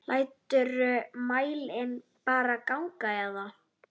Læturðu mælinn bara ganga eða?